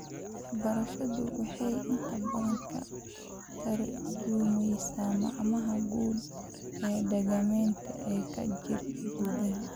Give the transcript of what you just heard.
Waxbarashadu waxay inta badan ka tarjumaysaa macnaha guud ee dhaqameed ee ka jira gudaha.